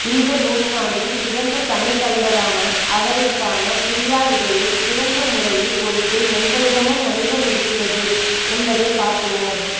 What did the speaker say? இந்த நூற்றாண்டின் சிறந்த தமிழ்தலைவரான அவரிற்கான பிரியாவிடையை சிறந்த முறையில் கொடுத்து எங்களிடமும் மனிதம் இருக்கிறது என்பதை காட்டுவோம்